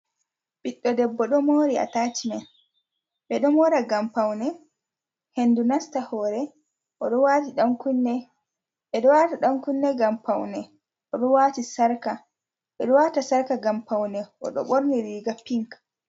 Ɓiɗdo debbo ɗo mori a tacimen, ɓe ɗo mora ngam paune hendu nasta hore, o ɗo wata dan kunne ngam paune o ɗo wati sarka, ɓe ɗo wata sarka ngam paune, oɗo ɓorni riga pink.